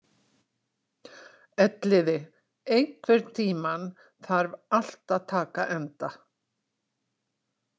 Elliði, einhvern tímann þarf allt að taka enda.